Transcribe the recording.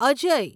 Ajay